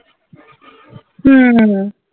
উম হম